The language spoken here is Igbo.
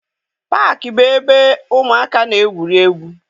Paakị bụ ebe ụmụaka na-egwuri egwu.